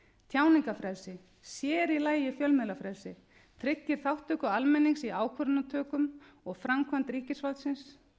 tjáningarfrelsi sér í lagi fjölmiðlafrelsi tryggir þátttöku almennings í ákvörðunartökum og framkvæmd ríkisvaldsins